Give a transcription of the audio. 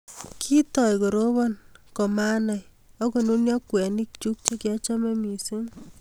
Kitou koroban kumanai akonunio kweinik chuk che kiachome mising